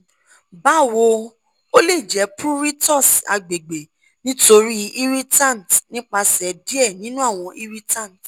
bawo o le jẹ pruritus agbegbe nitori irritants nipasẹ diẹ ninu awọn irritants